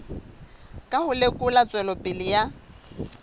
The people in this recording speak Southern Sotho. ka ho lekola tswelopele ya